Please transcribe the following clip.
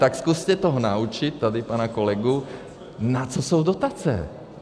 Tak zkuste to naučit tady pana kolegu, na co jsou dotace.